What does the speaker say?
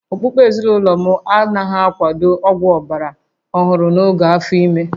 Okpukpe ezinụlọ m anaghị akwado ọgwụ ọgbara ọhụrụ n'oge afọ ime